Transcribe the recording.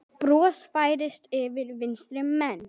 Bros færist yfir vinstri menn.